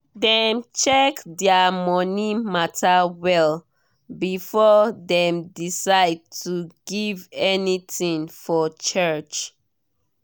dem check their money matter well before dem decide to give anything for church.